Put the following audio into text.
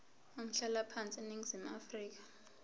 umhlalaphansi eningizimu afrika